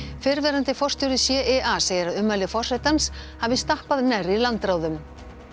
fyrrverandi forstjóri CIA segir að ummæli forsetans hafi stappað nærri landráðum